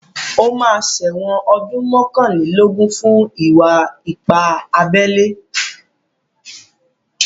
Ó máa ṣẹ̀wọ̀n ọdún mọ́kànlélógún fún ìwà ipá abẹ́lé.